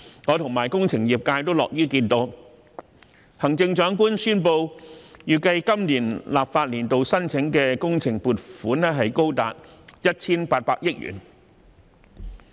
我及工程業界也樂於看到行政長官宣布預計在本立法年度申請的工程撥款高達 1,800 億元。